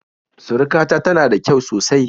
Surukata tana da kyau sosai